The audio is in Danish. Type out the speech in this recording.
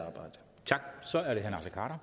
mange